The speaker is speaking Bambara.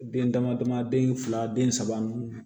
Den dama dama den fila den saba nunnu